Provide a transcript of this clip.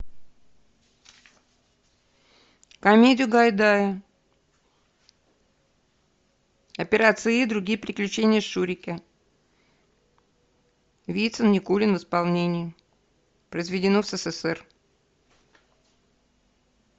комедию гайдая операция ы и другие приключения шурика вицин никулин в исполнении произведено в ссср